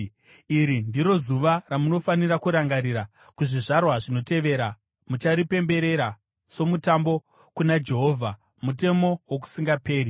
“Iri ndiro zuva ramunofanira kurangarira; kuzvizvarwa zvinotevera mucharipemberera somutambo kuna Jehovha, mutemo wokusingaperi.